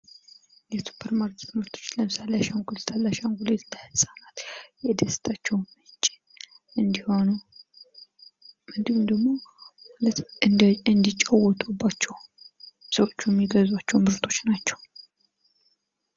የሱፐር ማርኬት ምርቶች ለምሳሌ አሻንጉሊት አለ አሻንጉሊት ለህፃናት የደስታቸው ምንጭ እንዲሆኑ እንዲሁም ደግሞ እንዲጫወቱባቸው ሰዎቹ የሚገዟቸው ምርቶች ናቸው ።